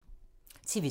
TV 2